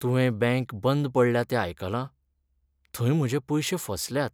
तुवें बँक बंद पडल्या तें आयकलां? थंय म्हजे पयशे फसल्यात.